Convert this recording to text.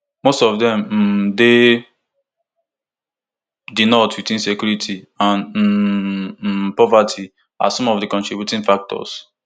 most of dem um dey di north with insecurity and um um poverty as some of di contributing factors